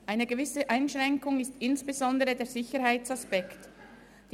Eine gewisse Einschränkung ist insbesondere aufgrund des Sicherheitsaspekts gegeben.